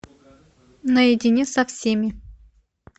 наедине со всеми